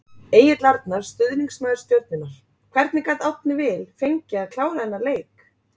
Egill Arnar, stuðningsmaður Stjörnunnar Hvernig gat Árni Vill fengið að klára þennan leik?